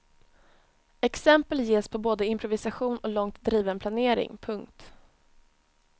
Exempel ges på både improvisation och långt driven planering. punkt